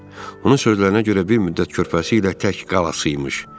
Onun sözlərinə görə bir müddət körpəsi ilə tək qalası imiş.